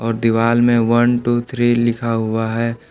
और दीवाल में वन टू थ्री लिखा हुआ है।